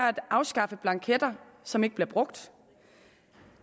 at afskaffe blanketter som netop ikke bliver brugt